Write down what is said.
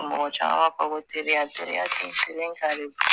Mɔgɔ caman b'a fɔ teriya teriya ten terun n kan de don